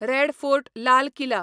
red fort Lal Qila